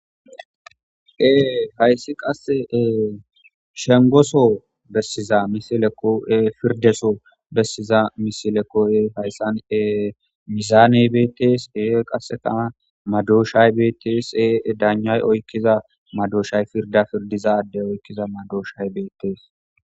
Ee hayssi qasse ee shengoso bessiza misilekoe firdeso bessiza misilekoye hayssane mizaane beetees e qasseta madoshay beeteese daanjay oykkiza madoshay firda firdizadde oykkiza madoshay beetees.